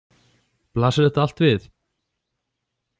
Blasir þetta allt við?